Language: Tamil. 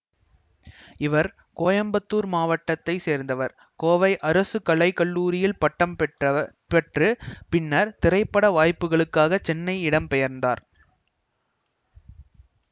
இவர் கோயம்பத்தூர் மாவட்டத்தை சேர்ந்தவர் கோவை அரசு கலை கல்லூரியில் பட்டம் பெற்ற பின்னர் திரைப்பட வாய்ப்புகளுக்காக சென்னைக்கு இடம்பெயர்ந்தார்